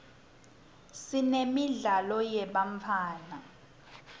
siremidlalo yebantfwana